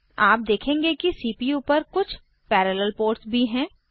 आप देखेंगे कि सीपीयू पर कुछ पैरेलल पोर्ट्स भी हैं